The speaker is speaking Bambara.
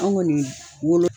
Anw kɔni wolo